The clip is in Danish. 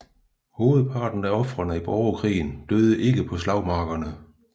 Hovedparten af ofrene i borgerkrigen døde ikke på slagmarkerne